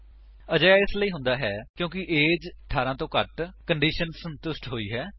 ਅਜਿਹਾ ਇਸਲਈ ਹੁੰਦਾ ਹੈ ਕਿਉਂਕਿ ਏਜ 18 ਤੋਂ ਘੱਟ ਕੰਡੀਸ਼ਨ ਸੰਤੁਸ਼ਟ ਹੋਈ ਹੈ